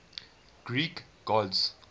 greek gods